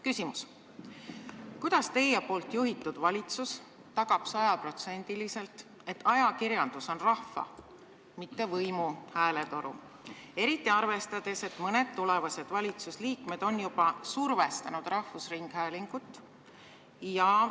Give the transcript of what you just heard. Küsimus: kuidas teie juhitud valitsus tagab sajaprotsendiliselt, et ajakirjandus on rahva, mitte võimu hääletoru, eriti arvestades, et mõned tulevased valitsusliikmed on juba survestanud rahvusringhäälingut?